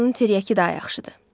Oranın tiryəki daha yaxşıdır.